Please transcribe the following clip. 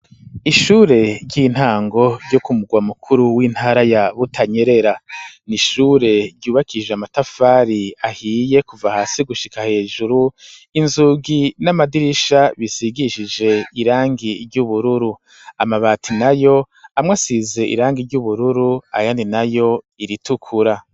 Ishure ry'intango ryo ku murwa mukuru w'intara ya Butanyerera n'ishure ryubakishije amatafari ahiye kuva hasi gushika hejuru inzugi n'amadirisha bisigishije irangi ry'ubururu amabati nayo amwe asize irangi ry'ubururu ayandi nayo iritukura.